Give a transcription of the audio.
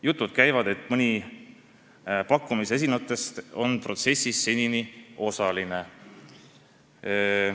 Jutud aga käivad, et mõni pakkumise esitanutest on protsessis seni osaline.